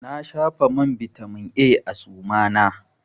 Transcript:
Na shafa man bitamin A a suma na.